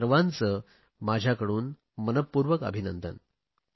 या सर्वांचे माझ्याकडून मनपूर्वक अभिनंदन